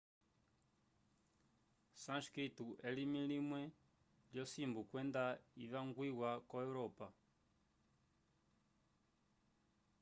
sânscrito elimi limwe lyosimbu kwenda ivangwiwa ko europa